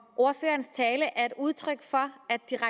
ordførerens tale er et udtryk for